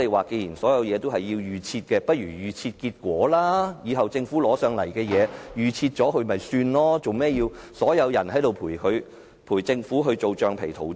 既然所有事情也是預設，立法會不如把所有結果預設，日後政府要立法會通過法案，把結果預設便可以了，為甚麼要所有人陪政府當橡皮圖章？